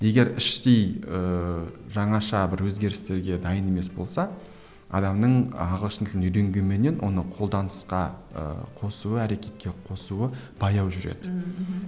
егер іштей ііі жаңаша бір өзгерістерге дайын емес болса адамның ағылшын тілін үйренгенменен оны қолданысқа ыыы қосуы әрекетке қосуы баяу жүреді ммм мхм